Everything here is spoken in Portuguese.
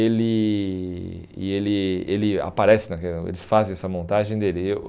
ele e ele ele aparece, eles fazem essa montagem dele. Eu